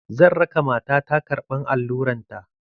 Zan raka mata ta karɓan alluran ta.